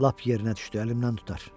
Lap yerinə düşdü əlimdən tutar.